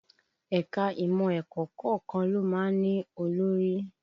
Ẹ̀ka imọ ẹ̀kọ́ kọ̀ọ̀kan ló má ń olórí